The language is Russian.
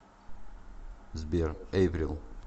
сбер эйприл